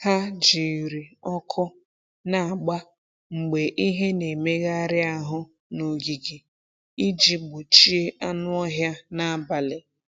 Ha jiri ọkụ na-agba mgbe ihe na-emegharị ahụ n’ogige iji gbochie anụ ọhịa n’abalị.